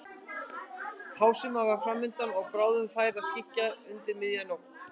Hásumarið var fram undan og bráðum færi að skyggja undir miðja nótt.